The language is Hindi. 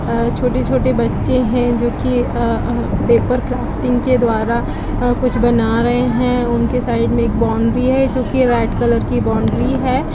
अ छोटे-छोटे बच्चे हैं जो की अ पेपर क्राफ्टिंग के द्वारा अ कुछ बना रहे है उन के साइड में एक बाउंड्री है जो की रेड कलर की बाउंड्री है।